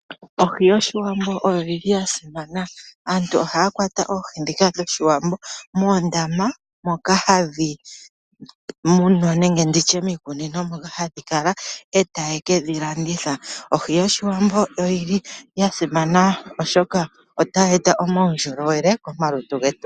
Oohi dhOshiwambo odhili dha simana. Aantu ohaya kwata oohi dhika dhOshiwambo moondama moka hadhi munwa nenge ndi tye mehala lyokutekula oohi, moka hadhi kala eta ye kedhilanditha. Oohi dhOshiwambo odhili dha simana oshoka ohayi eta omaundjolowele komalutu getu.